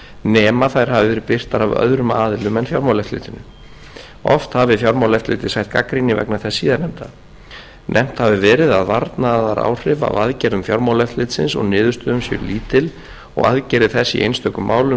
nema þær hafi verið birtar af öðrum aðilum en fjármálaeftirlitinu oft hafi fjármálaeftirlitið sætt gagnrýni vegna þess síðastnefnda nefnt hafi verið að varnaðaráhrif af aðgerðum fjármálaeftirlitsins og niðurstöðum séu lítil og aðgerðir þess í einstökum málum